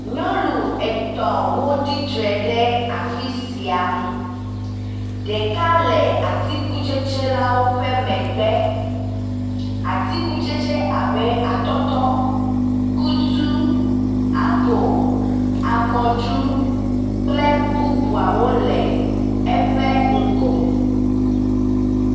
Nyɔnu etɔ̃ wo tsitre ɖe afi sia. Ɖeka le atikutsetse la wo ƒe megbe. Atikutsetse abe; atɔtɔ, kutu, apel, akɔɖu kple bubuawo le eƒe ŋgɔ.